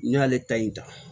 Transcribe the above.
N'i y'ale ta in ta